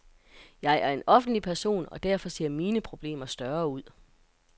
Jeg er en offentlig person, og derfor ser mine problemer større ud.